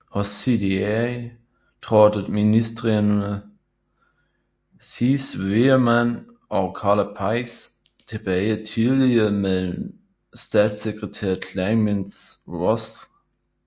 Hos CDA trådte ministreme Cees Veerman og Karla Peijs tilbage tillige med statssekretær Clemence Ross